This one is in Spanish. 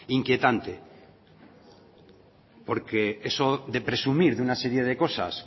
inquietante porque eso de presumir de una serie de cosas